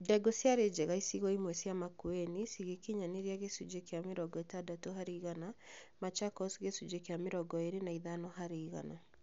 Ndengu ciarĩ njega icigo imwe cia Makueni cigĩkinyanĩria gĩcunjĩ kĩa mĩrongo ĩtandatũ harĩ igana, Machakos gĩcunjĩ kĩa mĩrongo ĩĩri na ithano harĩ igana